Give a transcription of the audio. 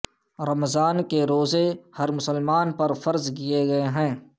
رمضان کے روزے ھر مسلمان پر فرض کیے گئے ھیں اس لیے